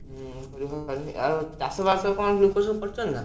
ହୁଁ ଘରୁ ବାହାରି ହଉନି ଆଉ ଚାଷବାସ କଣ ଲୋକ ସବୁ କରିଛନ୍ତି ନା?